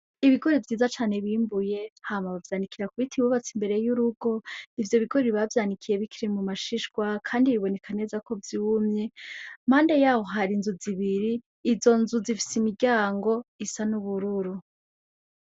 Ibigori vyiza cane bimbuye hama bavyanikira ku biti bubatse imbere y'urugo ,ivyo bigori bavyanikiye bikiri mu mashishwa kandi biboneka neza ko vyumye impande yaho har'inzu zibiri ,izo nzu zifis'imiryango isa n'ubururu.